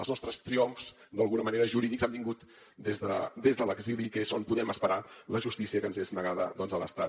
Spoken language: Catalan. els nostres triomfs d’alguna manera jurídics han vingut des de l’exili que és on podem esperar la justícia que ens és negada a l’estat